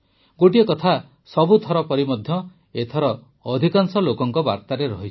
ଗୋଟିଏ କଥା ସବୁଥର ପରି ଏଥର ମଧ୍ୟ ଅଧିକାଂଶ ଲୋକଙ୍କ ବାର୍ତ୍ତାରେ ରହିଛି